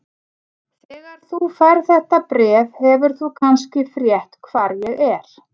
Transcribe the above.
Þegar þú færð þetta bréf hefur þú kannski frétt hvar ég er.